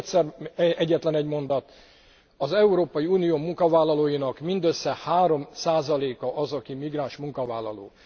És még egyszer egyetlenegy mondat az Európai Unió munkavállalóinak mindössze 3 a az, aki migráns munkavállaló.